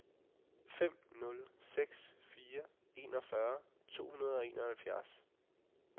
fem nul seks fire enogfyrre to hundrede og enoghalvfjerds